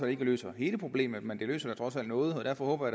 ikke løser hele problemet men det løser trods alt noget derfor håber